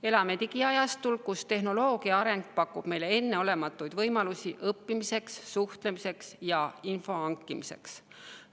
Elame digiajastul, tehnoloogia areng pakub meile enneolematuid võimalusi õppimiseks, suhtlemiseks ja info hankimiseks.